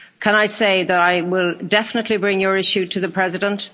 Can I say that I will definitely bring your issue to the President.